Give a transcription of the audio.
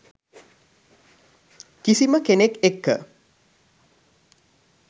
කිසිම කෙනෙක් එක්ක